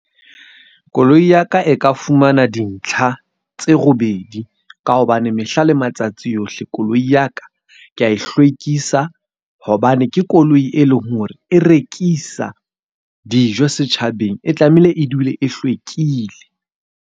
Koloi ya ka e ka fumana dintlha tse robedi, ka hobane mehla le matsatsi yohle koloi ya ka ke ya e hlwekisa. Hobane ke koloi e leng hore e rekisa dijo setjhabeng. E tlamehile e dule e hlwekile.